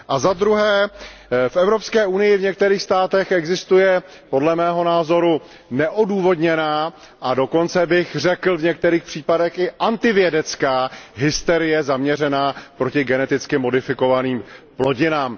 A za druhé, v Evropské unii v některých státech existuje podle mého názoru neodůvodněná a dokonce bych řekl v některých případech i antivědecká hysterie zaměřená proti geneticky modifikovaným plodinám.